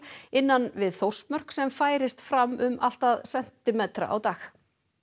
innan við Þórsmörk sem færist fram um allt að sentimetra á dag